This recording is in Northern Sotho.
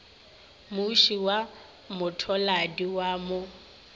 moše wa mothaladi wo mo